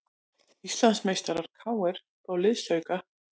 Íslandsmeistarar KR fá liðsauka